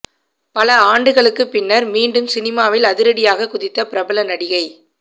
பல ஆண்டுகளுக்கு பின்னர் மீண்டும் சினிமாவில் அதிரடியாக குதித்த பிரபல நடிகை